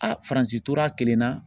A faransi tora kelen na.